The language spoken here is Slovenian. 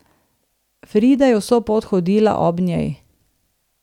Frida je vso pot hodila ob njej.